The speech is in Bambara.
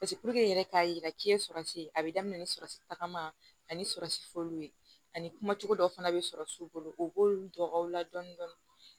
i yɛrɛ k'a yira k'i ye sɔrɔsi a bɛ daminɛ ni sɔ tagama ani sɔrɔsi fɔliw ye ani kuma cogo dɔ fana bɛ sɔrɔ i bolo u b'olu dɔn u la dɔɔnin dɔɔnin